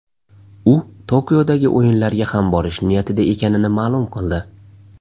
U Tokiodagi o‘yinlarga ham borish niyatida ekanini ma’lum qildi.